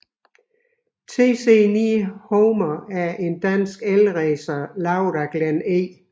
TC9 Hornet er en dansk elracer lavet af Glenn E